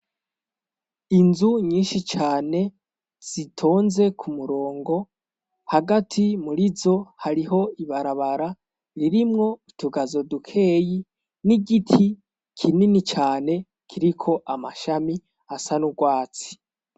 Inzu nyinshi cane zitonze ku murongo hagati muri zo hariho ibarabara ririmwo utugazo dukeyi n'igiti kinini cane kiriko amashami asa n'urwatsi.